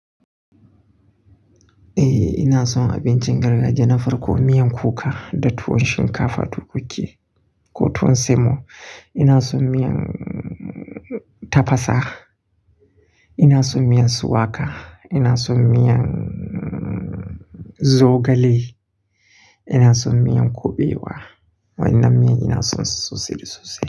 Eh ina son abincin gargajiya, na farko miyan kuka da tuwon shinkafa tukuki ko tuwon semo. Ina son miyan tafasa, ina son miyan shuwaka, ina son miyan zogale, ina son miyan kuɓewa. Wannan miyan ina son su sosai sosai.